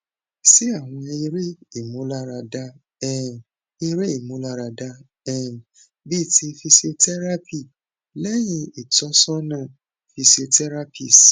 se awon ere imularada um ere imularada um bi ti physiotherapy lehin itosona physiotherapist